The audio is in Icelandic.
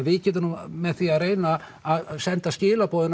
við getum með því að reyna að senda skilaboð